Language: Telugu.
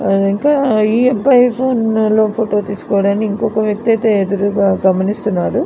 ఆహ్ ఇంకా ఈ అబ్బాయి ఫోటో తీస్కోడానికి ఇంకొక వ్యక్తయితే ఎదురుగ గమనిస్తున్నాడు.